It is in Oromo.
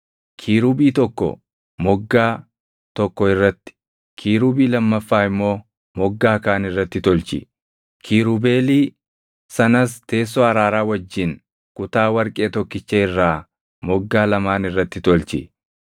Kiirubii tokko moggaa tokko irratti, kiirubii lammaffaa immoo moggaa kaan irratti tolchi; kiirubeelii sanas teessoo araaraa wajjin kutaa warqee tokkicha irraa moggaa lamaan irratti tolchi.